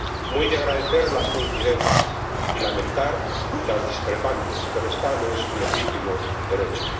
Muy de agradecer las coincidentes, y lamentar las discrepantes, pero están en su legítimo derecho.